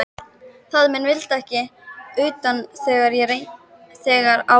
Faðir minn vildi ekki utan þegar á reyndi.